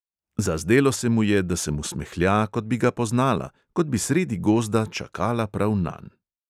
Zazdelo se mu je, da se mu smehlja, kot bi ga poznala, kot bi sredi gozda čakala prav nanj.